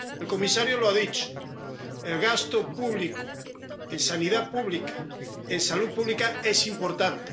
El comisario lo ha dicho el gasto público en sanidad pública, en salud pública, es importante.